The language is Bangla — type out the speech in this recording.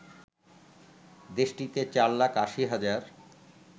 দেশটিতে চার লাখ ৮০ হাজার